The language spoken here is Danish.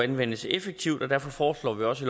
anvendes effektivt og derfor foreslår vi også